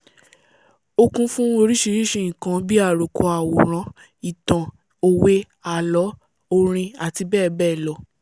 ó kún fún orísìírísìí nǹkan bí i àròkọ àwòrán ìtàn òwe ààlọ́ orin àti bẹ́ẹ̀ bẹ́ẹ̀ lọ